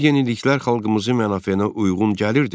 Bu yeniliklər xalqımızın mənafeyinə uyğun gəlirdimi?